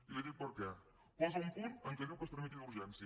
i li dic per què posa un punt en què diu que es tramiti d’urgència